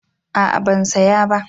A'a ban saya ba